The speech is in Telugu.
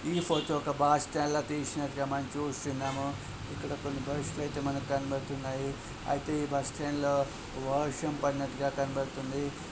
ఈ ఫోటో ఒక బాస్ స్టాండ్ల తీసినట్టుగా మనం చూస్తున్నాము. ఇక్కడ కొన్ని బస్సులు ఐతే మనకు కనబడుతున్నాయి. ఐతే ఈ బస్ స్టాండ్ లో వర్షం పడినట్టుగా కనబడుతుంది.